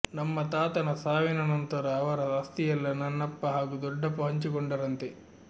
ನಮ್ಮ ತಾತನ ಸಾವಿನ ನಂತರ ಅವರ ಆಸ್ತಿಯೆಲ್ಲಾ ನಮ್ಮಪ್ಪ ಹಾಗೂ ದೊಡ್ಡಪ್ಪ ಹಂಚಿಕೊಂಡರಂತೆ